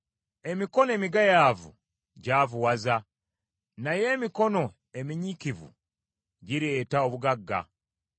Emikono emigayaavu gyavuwaza, naye emikono eminyiikivu gireeta obugagga.